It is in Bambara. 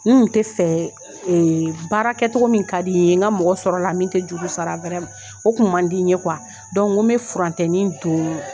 N kun tɛ fɛ baara kɛcogo min ka di n ye n ka mɔgɔ sɔrɔ a la min tɛ juru sara o kun man di n ye n ko bɛ furancɛnin don